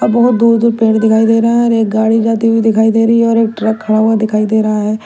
बहुत दूर दूर पेड़ दिखाई दे रहा है और एक गाड़ी जाती हुई दिखाई दे रही है और एक ट्रक खड़ा हुआ दिखाई दे रहा है।